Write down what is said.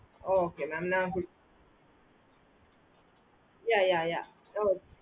okay mam ந yeah yeah yeah